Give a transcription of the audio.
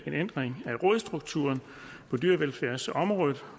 ændring af rådsstrukturen på dyrevelfærdsområdet